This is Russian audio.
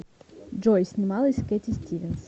джой снималась кэтти стивенс